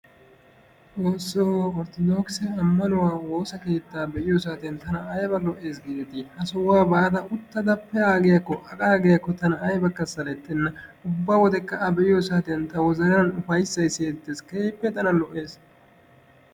Xoosso! Orttodokkise ammanuwa woossaa keetta be'iyo saatiyaan tana aybba lo"eessi gideti! Ha sohuwaa baada uttida pe'agiyaakko aqaagiyakko tana aybbaka salettena. Ubba wodekka a be'iyo saatiyan ta wozanan upayssay siyettees, keehippe tana lo"essi